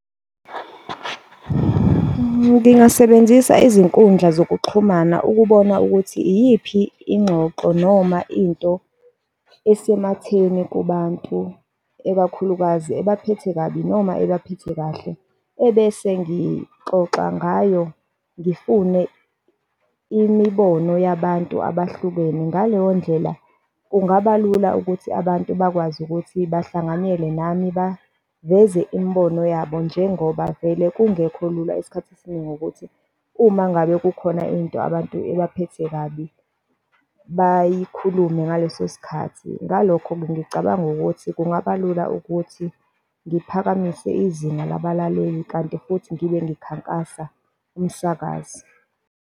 Ngingasebenzisa izinkundla zokuxhumana ukubona ukuthi iyiphi ingxoxo noma into esematheni kubantu, ekakhulukazi ebaphethe kabi, noma ebaphethe kahle, ebese ngixoxa ngayo, ngifune imibono yabantu abahlukene ngaleyo ndlela kungabalula ukuthi abantu bakwazi ukuthi bahlanganyele nami baveze imibono yabo njengoba vele kungekho lula isikhathi esiningi ukuthi uma ngabe kukhona into abantu ebaphethe kabi bayikhuluma ngaleso sikhathi. Ngalokho-ke ngicabanga ukuthi kungabalula ukuthi ngiphakamise izinga labalaleli kanti futhi ngibe ngikhankasa umsakazo.